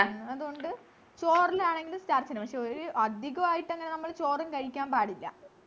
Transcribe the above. അതുകൊണ്ട് ചോറിലാണെങ്കിലും starch ന ക്ഷേ ഒരു അധികം ആയിട്ടെങ്ങനെ നമ്മള് ചോറും കഴിക്കാൻ പാടില്ല